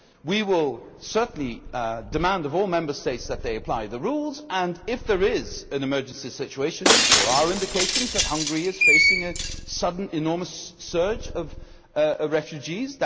We will certainly demand of all Member States that they apply the rules and, if there is an emergency situation there are indications that Hungary is facing a sudden enormous surge of refugees